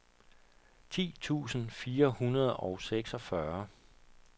ti tusind fire hundrede og seksogfyrre